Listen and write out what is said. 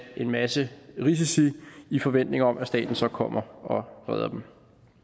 en masse risici i forventning om at staten så kommer og redder dem